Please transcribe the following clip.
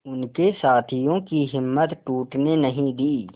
उनके साथियों की हिम्मत टूटने नहीं दी